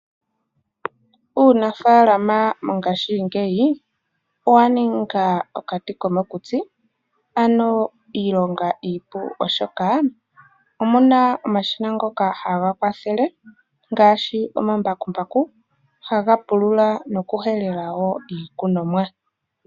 Uunafaalama mongashingeyi owa ninga okati komokutsi, ano iilonga iipu, oshoka omu na omashina ngoka haga kwathele ngaashi omambakumbaku haga pulula nokuhelela wo iikunomwa.